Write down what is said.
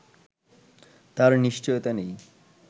তার নিশ্চয়তা নেই